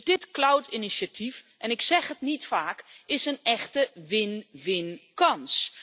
Dus dit Cloud Initiative en ik zeg het niet vaak is een echte win winkans.